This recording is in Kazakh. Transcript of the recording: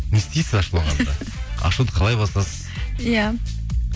не істейсіз ашуланғанда ашуды қалай басасыз иә